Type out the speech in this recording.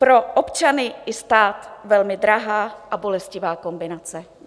Pro občany i stát velmi drahá a bolestivá kombinace.